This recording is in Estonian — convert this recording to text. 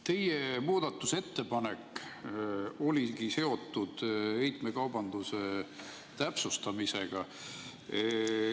Teie muudatusettepanek oligi seotud heitmekaubanduse täpsustamisega.